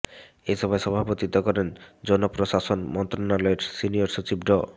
এ সভায় সভাপতিত্ব করেন জনপ্রশাসন মন্ত্রণালয়ের সিনিয়র সচিব ড